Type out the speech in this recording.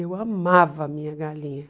Eu amava a minha galinha.